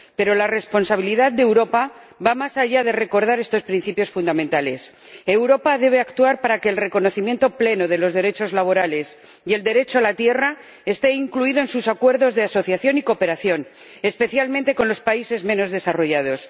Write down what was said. Pero la responsabilidad de Europa va más allá de recordar estos principios fundamentales Europa debe actuar para que el reconocimiento pleno de los derechos laborales y del derecho a la tierra esté incluido en sus acuerdos de asociación y cooperación, especialmente con los países menos desarrollados.